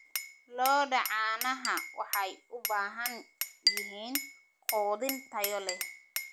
Lo'da caanaha waxay u baahan yihiin quudin tayo leh.